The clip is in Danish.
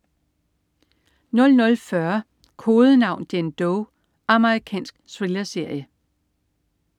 00.40 Kodenavn: Jane Doe. Amerikansk thrillerserie